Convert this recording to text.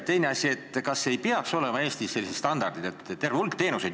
Teine asi, kas ei peaks Eestis olema sellised standardid terve hulga teenuste kohta?